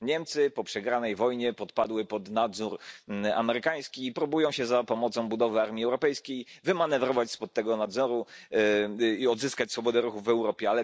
Niemcy po przegranej wojnie podpadły pod nadzór amerykański i próbują się za pomocą budowy armii europejskiej wymanewrować się spod tego nadzoru i odzyskać swobodę ruchów w Europie.